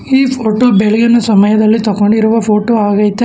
ಈ ಫೋಟೋ ಬೆಳಗಿನ ಸಮಯದಲ್ಲಿ ತಕ್ಕೊಂಡಿರುವ ಫೋಟೋ ಆಗೈತೆ.